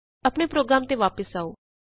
ਆਪਣੇ ਪ੍ਰੋਗਰਾਮ ਤੇ ਵਾਪਸ ਆਉ